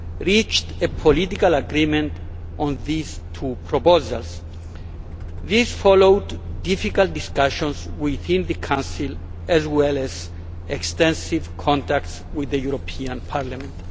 reached a political agreement on these two proposals. This followed difficult discussions within the Council as well as extensive contacts with the European Parliament.